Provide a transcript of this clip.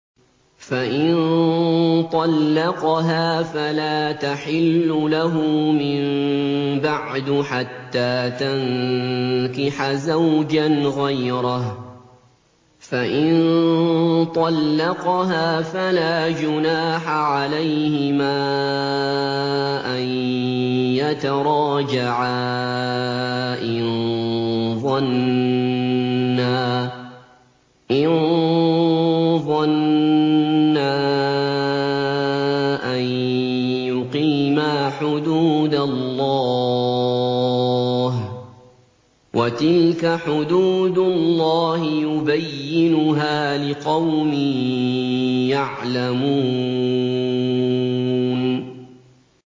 فَإِن طَلَّقَهَا فَلَا تَحِلُّ لَهُ مِن بَعْدُ حَتَّىٰ تَنكِحَ زَوْجًا غَيْرَهُ ۗ فَإِن طَلَّقَهَا فَلَا جُنَاحَ عَلَيْهِمَا أَن يَتَرَاجَعَا إِن ظَنَّا أَن يُقِيمَا حُدُودَ اللَّهِ ۗ وَتِلْكَ حُدُودُ اللَّهِ يُبَيِّنُهَا لِقَوْمٍ يَعْلَمُونَ